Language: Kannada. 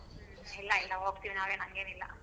ಇಲ್ಲ ಇಲ್ಲ ಹೋಗ್ತಿವ್ ನಾವೇನ್ ಹಂಗೇನಿಲ್ಲ.